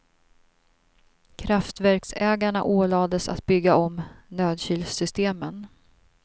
Kraftverksägarna ålades att bygga om nödkylsystemen.